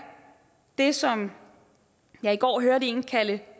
det som jeg i går hørte en kalde